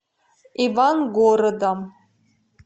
ивангородом